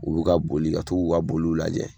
U bi ka boli ka to k'u ka boluw lajɛ